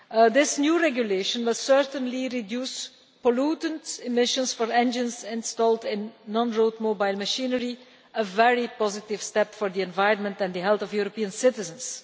This new regulation will certainly reduce pollutant emissions for engines installed in non road mobile machinery, a very positive step for the environment and the health of European citizens.